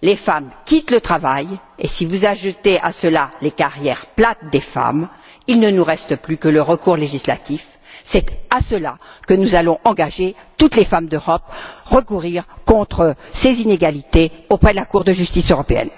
les femmes quittent le travail et si vous ajoutez à cela les carrières plates des femmes, il ne nous reste plus que le recours législatif. C'est à cela que nous allons engager toutes les femmes d'Europe recourir contre ces inégalités auprès de la Cour de justice européenne.